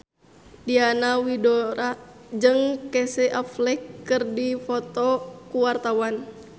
Diana Widoera jeung Casey Affleck keur dipoto ku wartawan